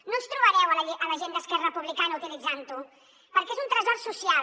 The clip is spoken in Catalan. no ens trobareu a la gent d’esquerra republicana utilitzant ho perquè és un tresor social